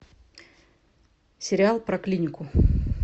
сериал про клинику